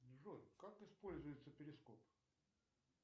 джой как используется перископ